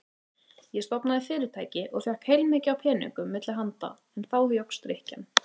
Ég stofnaði fyrirtæki og fékk heilmikið af peningum milli handa en þá jókst drykkjan.